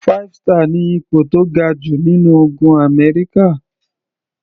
Five star ni ipò tó ga jù nínú ogun Amẹ́ríkà.